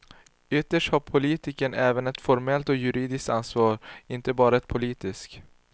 Ytterst har politikern även ett formellt och juridiskt ansvar, inte bara ett politiskt.